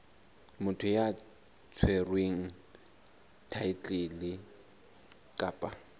motho ya tshwereng thaetlele kapa